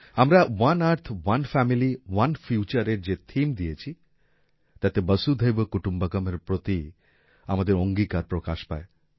আমরা one earth one family one future এর যে থিম দিয়েছি তাতে বসুধৈব কুটুম্বাকামএর প্রতি আমাদের অঙ্গীকার প্রকাশ পায়